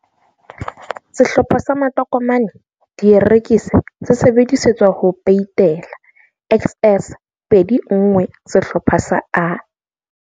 Sehlopha sa matokomane, dierekisi se sebediswa ho peitela XS 21 sehlopha sa A.